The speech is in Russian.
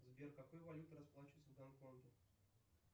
сбер какой валютой расплачиваются в гонконге